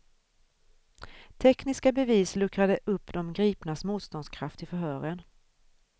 Tekniska bevis luckrade upp de gripnas motståndskraft i förhören.